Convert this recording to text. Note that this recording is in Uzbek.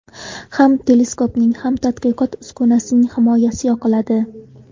Ham teleskopning, ham tadqiqot uskunasining himoyasi yoqiladi”.